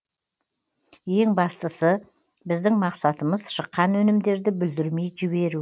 ең бастысы біздің мақсатымыз шыққан өнімдерді бүлдірмей жіберу